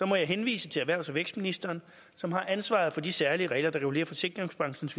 må jeg henvise til erhvervs og vækstministeren som har ansvaret for de særlige regler der regulerer forsikringsbranchens